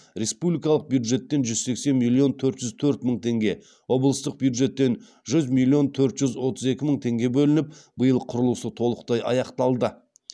республикалық бюджеттен жүз сексен миллион төрт жүз төрт мың теңге облыстық бюджеттен жүз миллион төрт жүз отыз екі мың теңге бөлініп биыл құрылысы толықтай аяқталды